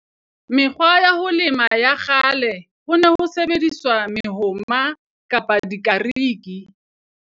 Mekgwa ya ho lema ya kgale ho ne ho sebediswa mehoma kapa dikariki.